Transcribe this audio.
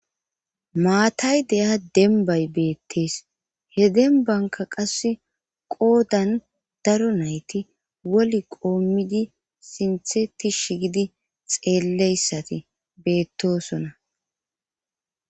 maatay deya denbay beettees he denbanka qasse qoodan daro nayti woli qoommidi sintheti shigidi xeelleyssati beettosona